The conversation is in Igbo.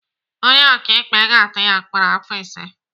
Onye ọkaikpe ga-atụ ya mkpọrọ afọ ise.